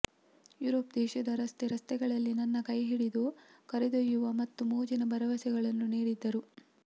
Europe ದೇಶದ ರಸ್ತೆ ರಸ್ತೆಗಳಲ್ಲಿ ನನ್ನ ಕೈಹಿಡಿದು ಕರೆದೊಯ್ಯುವ ಮತ್ತು ಮೋಜಿನ ಭರವಸೆಗಳನ್ನು ನೀಡಿದ್ದರು